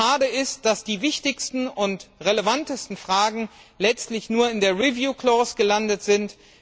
Schade ist, dass die wichtigsten und relevantesten Fragen letztlich nur in der Review Clause gelandet sind.